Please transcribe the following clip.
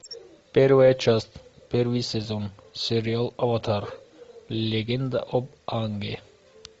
первая часть первый сезон сериал аватар легенда об аанге